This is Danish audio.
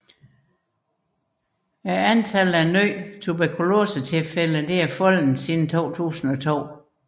Antallet af nye tuberkulosetilfælde er faldet siden 2002